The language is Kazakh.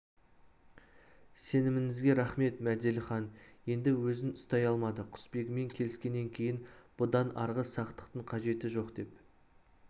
сеніміңізге рақмет мәделіхан енді өзін ұстай алмады құсбегімен келіскеннен кейін бұдан арғы сақтықтың қажеті жоқ деп